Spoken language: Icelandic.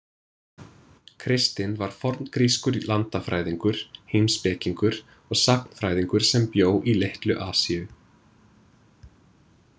Kristinn var forngrískur landafræðingur, heimspekingur og sagnfræðingur sem bjó í Litlu-Asíu.